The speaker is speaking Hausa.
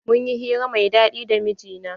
Mun yi hira mai daɗi da mijina.